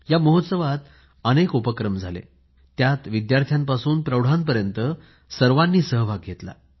या महोत्सवात अनेक उपक्रम झाले त्यादरम्यान विद्यार्थ्यापासून प्रौढापर्यंत सर्वांनी सहभाग घेतला